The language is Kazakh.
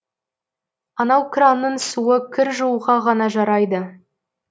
анау кранның суы кір жууға ғана жарайды